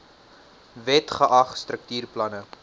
wet geag struktuurplanne